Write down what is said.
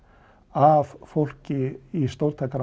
af fólki í